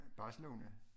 Barcelona